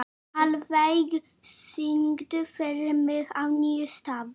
Hallveig, syngdu fyrir mig „Á nýjum stað“.